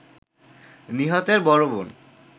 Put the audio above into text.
নিহতের বড় বোন